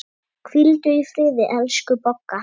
Hvíldu í friði, elsku Bogga.